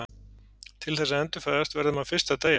Til þess að endurfæðast verður maður fyrst að deyja.